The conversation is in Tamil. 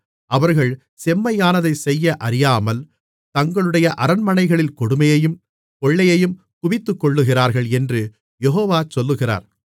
அவர்கள் செம்மையானதைச் செய்ய அறியாமல் தங்களுடைய அரண்மனைகளில் கொடுமையையும் கொள்ளையையும் குவித்துக்கொள்ளுகிறார்கள் என்று யெகோவா சொல்லுகிறார்